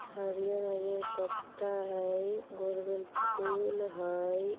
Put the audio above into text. हरियर-हरियर पत्ता हई गोल-गोल फूल हई।